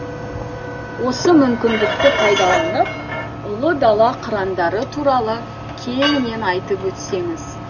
осы мүмкіндікті пайдаланып ұлы дала қырандары туралы кеңінен айтып өтсеңіз